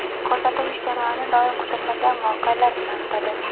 Ko‘rsatuv ish jarayoni doim kutilmagan voqealar bilan o‘tadi.